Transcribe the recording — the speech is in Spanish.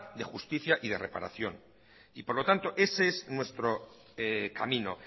de justicia y de reparación y por lo tanto es ese nuestro camino